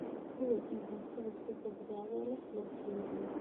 Hubi in cuntada si badbaado leh loo kaydiyay.